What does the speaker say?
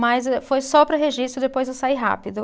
Mas eh, foi só para registro e depois eu saí rápido.